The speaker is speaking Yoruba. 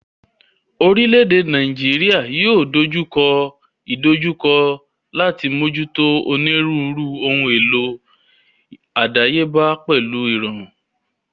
Orílẹ̀ èdè Nàíjíríà yóò dojú kọ ìdojúkọ láti mójútó onírúurú ohun èlò àdáyébá pẹ̀lú ìrọ̀rùn.